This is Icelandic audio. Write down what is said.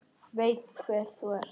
Veit hver þú ert.